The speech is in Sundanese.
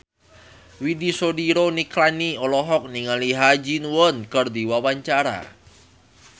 Widy Soediro Nichlany olohok ningali Ha Ji Won keur diwawancara